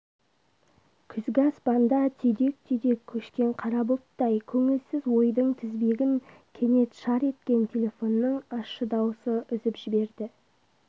күзгі аспанда түйдек-түйдек көшкен қара бұлттай көңілсіз ойдың тізбегін кенет шар еткен телефонның ащы дауысы үзіп жіберді